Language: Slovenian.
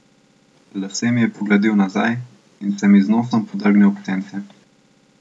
Lase mi je pogladil nazaj in se mi z nosom podrgnil ob sence.